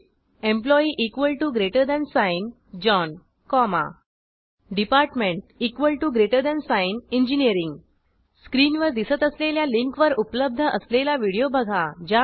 टीप employee John comma department engineering स्क्रीनवर दिसत असलेल्या लिंकवर उपलब्ध असलेला व्हिडिओ बघा